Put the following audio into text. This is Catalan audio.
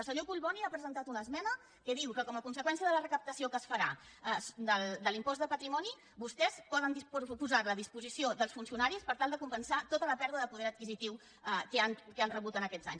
el senyor collboni ha presentat una esmena que diu que com a conseqüència de la recaptació que es farà de l’impost de patrimoni vostès poden posar la a disposició dels funcionaris per tal de compensar tota la pèrdua de poder adquisitiu que han rebut aquests anys